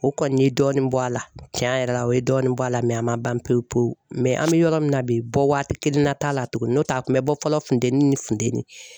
O kɔni ye dɔɔnin bɔ a la tiɲɛ yɛrɛ la o ye dɔɔnin bɔ a la a man ban pewu pewu an mi yɔrɔ min na bi bɔ waati kelenna t'a la tuguni n'o tɛ a tun mi bɔ fɔlɔ funteni ni funtɛni